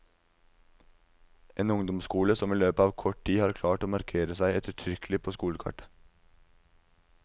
En ungdomsskole, som i løpet av kort tid har klart å markere seg ettertrykkelig på skolekartet.